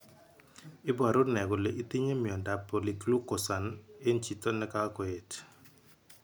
Iporu ne kole itinye miondap Polyglucosan en chito ne ka koyet.